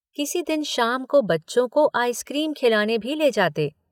किसी दिन शाम को बच्चों को आइसक्रीम खिलाने भी ले जाते।